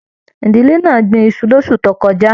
Ìdílé náà gbìn Isu l'osu tó kọjá.